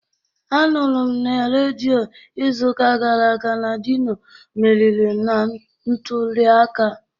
Anụrụ m na redio izuụka gara aga na Dino meriri na ntuliaka